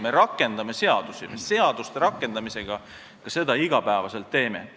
Me rakendame seadusi, seaduste rakendamisega me seda iga päev teemegi.